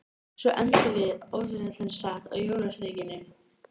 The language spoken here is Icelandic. Svo endum við, ótrúlegt en satt, á jólasteikinni.